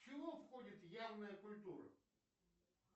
чего входит явная культура